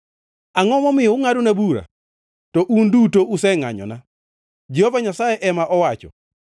“Angʼo momiyo ungʼadona bura? To un duto usengʼanyona,” Jehova Nyasaye ema owacho.